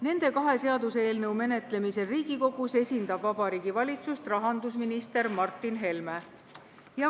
Nende kahe seaduseelnõu menetlemisel Riigikogus esindab Vabariigi Valitsust rahandusminister Martin Helme.